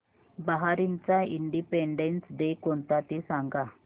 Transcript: बहारीनचा independence day कोणता ते सांगा